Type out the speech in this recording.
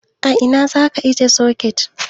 A ina zaka ajiye soket?